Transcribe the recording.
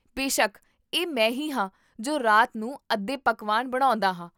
ਬੇਸ਼ੱਕ, ਇਹ ਮੈਂ ਹੀ ਹਾਂ ਜੋ ਰਾਤ ਨੂੰ ਅੱਧੇ ਪਕਵਾਨ ਬਣਾਉਂਦਾ ਹਾਂ